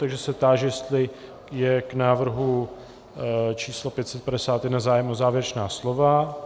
Takže se táži, jestli je k návrhu číslo 551 zájem o závěrečná slova.